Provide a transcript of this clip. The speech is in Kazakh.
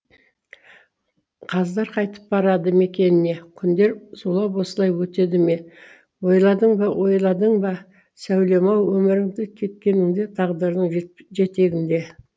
қаздар қайтып барады мекеніне күндер зулап осылай өтеді ме ойладың ба ойладың ба сәулем ау өміріңді кеткеніңде тағдырдың жет жетегінде